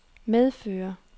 medfører